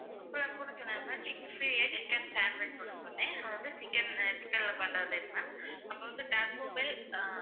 அப்புறம் இது கூட சொன்னேன் ma'am chick chicken sandwich ஒன்னு சொன்னேன். அது வந்து chicken ல பண்றது ma'am அப்புறம் வந்து dakoobell